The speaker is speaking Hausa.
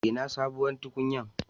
Ina sabon tukunyan?